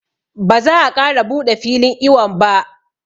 Ba za a ƙara buɗe filin iwon ba